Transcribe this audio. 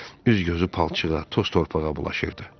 Üz-gözü palçığa, toz-torpağa bulaşırdı.